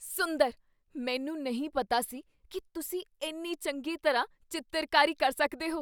ਸੁੰਦਰ ! ਮੈਨੂੰ ਨਹੀਂ ਪਤਾ ਸੀ ਕੀ ਤੁਸੀਂ ਇੰਨੀ ਚੰਗੀ ਤਰ੍ਹਾਂ ਚਿੱਤਰਕਾਰੀ ਕਰ ਸਕਦੇ ਹੋ!